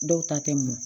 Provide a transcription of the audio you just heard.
Dɔw ta tɛ mun